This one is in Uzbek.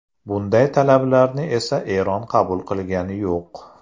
Bunday talablarni esa Eron qabul qilgani yo‘q.